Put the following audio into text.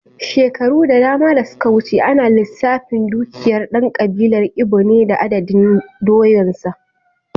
Shekaru da dama da suka wuce, ana lissafin dukiyar dan kabilar Igbo ne da adadin doyansa.